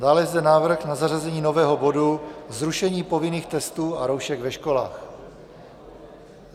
Dále je zde návrh na zařazení nového bodu zrušení povinných testů a roušek ve školách.